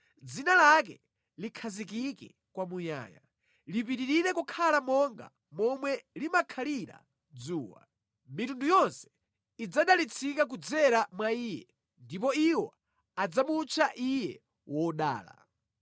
Dzina lake likhazikike kwamuyaya, lipitirire kukhala monga momwe limakhalira dzuwa. Mitundu yonse idzadalitsika kudzera mwa iye ndipo iwo adzamutcha iye wodala.